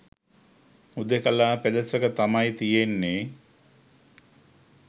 හුදෙකලා පෙදෙසක තමයි තියෙන්නෙ.